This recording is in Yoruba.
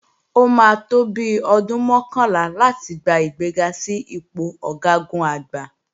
Ó máa tó bi ọdún mọ́kànlá láti gba ìgbéga sí ipò Ọ̀gágun-Àgbá